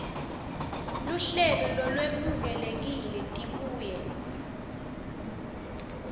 luhlelo lolwemukelekile tibuye